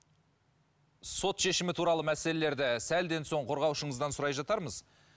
сот шешімі туралы мәлеселерді сәлден соң қорғаушыңыздан сұрай жатармыз